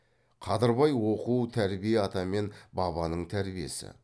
қадырбай оқу тәрбие ата мен бабаның тәрбиесі